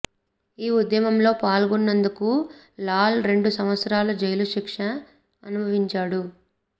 ఆ ఉద్యమంలో పాల్గొన్నందుకు లాల్ రెండు సంవత్సరాలు జైలు శిక్ష అనుభవించాడు